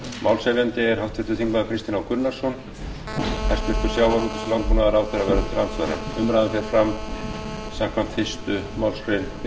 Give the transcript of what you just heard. málshefjandi er háttvirtur þingmaður kristinn h gunnarsson hæstvirtum sjávarútvegs og landbúnaðarráðherra verður til andsvara umræðan fer fram samkvæmt fyrstu málsgrein fimmtugustu